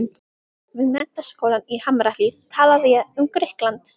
Við Menntaskólann í Hamrahlíð talaði ég um Grikkland.